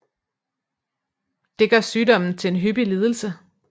Det gør sygdommen til en hyppig lidelse